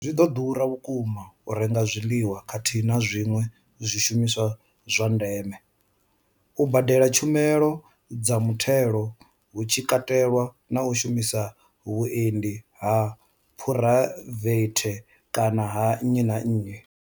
Zwi vho ḓura vhukuma u renga zwiḽiwa khathihi na zwiṅwe zwishumiswa zwa ndeme, u badela tshumelo dza mutheo hu tshi katelwa na u shumisa vhuendi ha phuraivethe kana ha nnyi na nnyi.